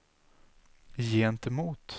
gentemot